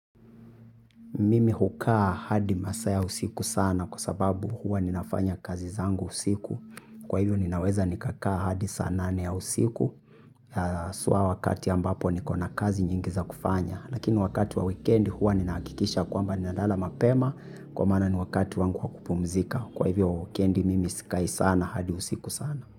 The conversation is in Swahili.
Mimi hukaa hadi masaa ya usiku sana kwa sababu huwa ninafanya kazi zangu usiku. Kwa hivyo ninaweza nikakaa hadi saa nane ya usiku haswa wakati ambapo niko na kazi nyingi za kufanya. Lakini wakati wa wikendi huwa ninahakikisha kwamba ninalala mapema kwa maana ni wakati wangu wa kupumzika kwa hivyo wikendi mimi sikai sana hadi usiku sana.